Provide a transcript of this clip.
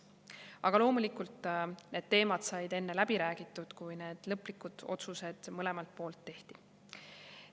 Aga loomulikult, need teemad said enne läbi räägitud, kui lõplikud otsused mõlemalt poolt tehti.